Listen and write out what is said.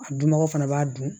A dunbaga fana b'a dun